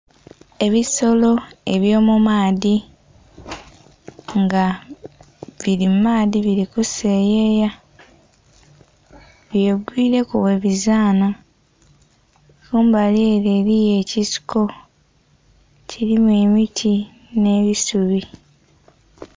Ebisolo ebyomumaadhi nga biri mumaadhi birikuseyeya bibegwireku webizana kumbali ere eriyo ekiseko kirimu emiti n'ebisubi.